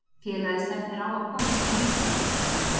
Félagið stefnir á að koma sér í Meistaradeildarsæti.